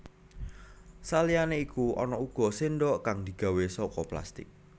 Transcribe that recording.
Saliyané iku ana uga séndhok kang digawé saka plastik